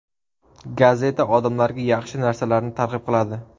Gazeta odamlarga yaxshi narsalarni targ‘ib qiladi.